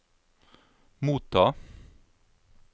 motta